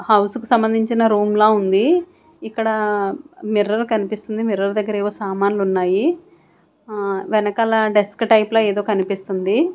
House కు సంబంధించిన రూంలా ఉంది ఇక్కడ మిర్రర్ కనిపిస్తుంది మిర్రర్ దగ్గర ఏవో సామాన్లు ఉన్నాయి ఆ ఆ వెనకాల డెస్క్ టైపులో ఏదో కనిపిస్తుంది.